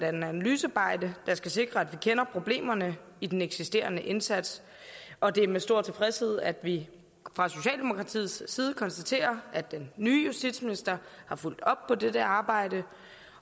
analysearbejde der skal sikre at vi kender problemerne i den eksisterende indsats og det er med stor tilfredshed at vi fra socialdemokratiets side konstaterer at den nye justitsminister har fulgt op på dette arbejde